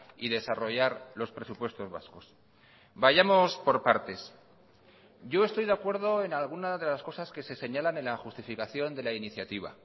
y desarrollar los presupuestos vascos vayamos por partes yo estoy de acuerdo en alguna de las cosas que se señalan en la justificación de la iniciativa